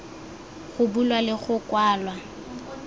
go bulwa le go kwalwa